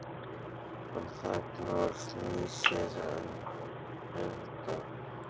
Hann þagnar og snýr sér undan.